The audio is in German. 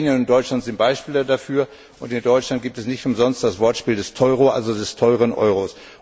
Slowenien und Deutschland sind Beispiele dafür, und in Deutschland gibt es nicht umsonst das Wortspiel vom Teuro, also dem teuren Euro.